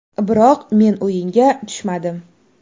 Biroq men o‘yinga tushmadim.